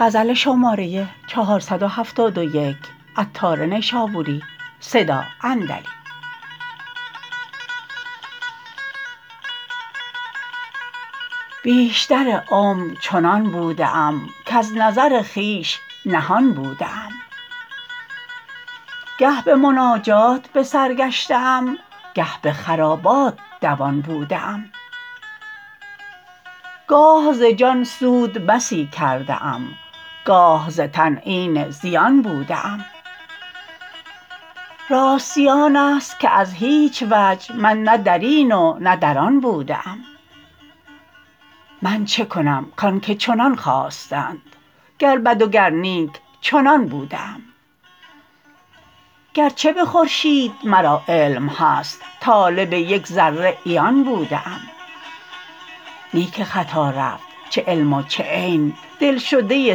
بیشتر عمر چنان بوده ام کز نظر خویش نهان بوده ام گه به مناجات به سر گشته ام گه به خرابات دوان بوده ام گاه ز جان سود بسی کرده ام گاه ز تن عین زیان بوده ام راستی آن است که از هیچ وجه من نه درین و نه در آن بوده ام من چکنم کان که چنان خواستند گر بد و گر نیک چنان بوده ام گرچه به خورشید مرا علم هست طالب یک ذره عیان بوده ام نی که خطا رفت چه علم و چه عین دلشده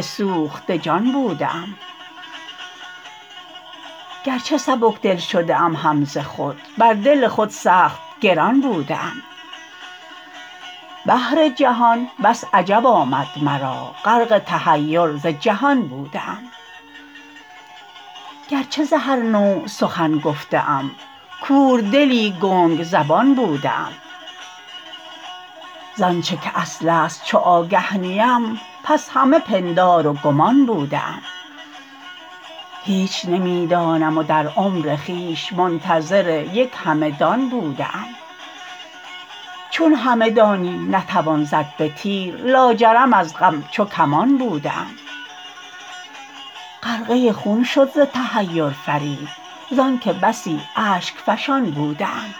سوخته جان بوده ام گرچه سبکدل شده ام هم ز خود بر دل خود سخت گران بوده ام بحر جهان بس عجب آمد مرا غرق تحیر ز جهان بوده ام گرچه ز هر نوع سخن گفته ام کوردلی گنگ زبان بوده ام زآنچه که اصل است چو آگه نیم پس همه پندار و گمان بوده ام هیچ نمی دانم و در عمر خویش منتظر یک همه دان بوده ام چون همه دانی نتوان زد به تیر لاجرم از غم چو کمان بوده ام غرقه خون شد ز تحیر فرید زانکه بسی اشک فشان بوده ام